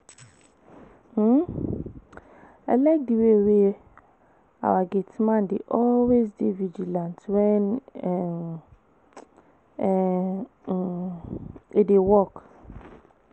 um I like the way our gate man dey always dey vigilant wen um e um dey work